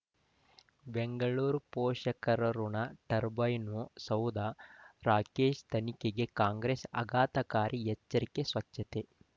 ಬೆಂಗಳೂರು ಪೋಷಕರಋಣ ಟರ್ಬೈನು ಸೌಧ ರಾಕೇಶ್ ತನಿಖೆಗೆ ಕಾಂಗ್ರೆಸ್ ಆಘಾತಕಾರಿ ಎಚ್ಚರಿಕೆ ಸ್ವಚ್ಛತೆ